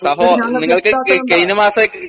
സഹോ നിങ്ങള്ക്ക് കയി കയിനമാസായിട്ട്